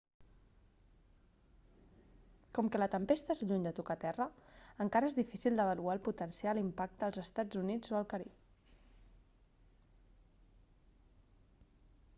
com que la tempesta és lluny de tocar terra encara és difícil d'avaluar el potencial impacte als estats units o al carib